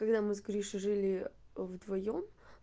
когда мы с гришей жили вдвоём